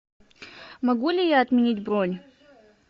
могу ли я отменить бронь